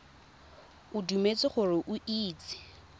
o dumetse gore o itse